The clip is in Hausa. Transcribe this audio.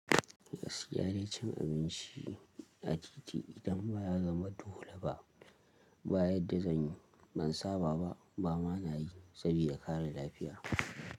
Gaskiya dai cin abinci a titi idan ba ya zama dole ba, bayadda zanyi, ban saba ba, ba ma nayi sabida kare lafiya.